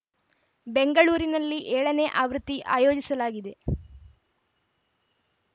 ಬೆಂಗಳೂರಿನಲ್ಲಿ ಏಳನೇ ಆವೃತ್ತಿ ಆಯೋಜಿಸಲಾಗಿದೆ